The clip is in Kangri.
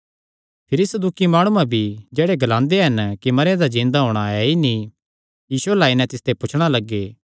भिरी सदूकी माणुआं भी जेह्ड़े ग्लांदे हन कि मरेयां दा जिन्दा होणा ऐ ई नीं यीशु अल्ल आई नैं तिसते पुछणा लग्गे